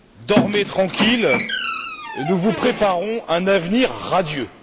Dormez tranquille, nous vous préparons un avenir radieux.